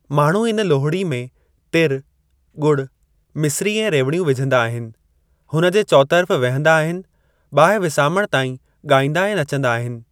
माण्हू इन लोहड़ी में तिर, गुड़, मिस्री ऐं रेवड़ियूं विझंदा आहिनि, हुन जे चोतर्फ़ वेहंदा आहिनि, बाहि विसामण ताईं ॻाईंदा ऐं नचंदा आहिनि।